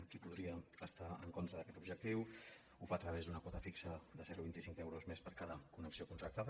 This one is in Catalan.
qui podria estar en contra d’aquest objectiu ho fa a través d’una quota fixa de zero coma vint cinc euros més per cada connexió contractada